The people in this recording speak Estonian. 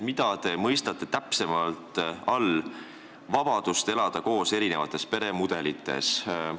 Mida te mõistate täpsemalt vabaduse all elada koos erinevates peremudelites?